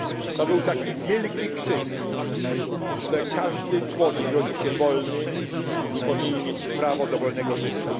To był taki wielki krzyk, że każdy człowiek rodzi się wolny i powinien mieć prawo do wolnego życia.